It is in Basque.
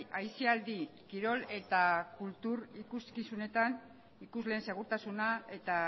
aisialdi kirol eta kultur ikuskizunetan ikusleen segurtasuna eta